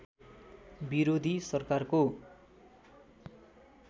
विरोधी सरकारको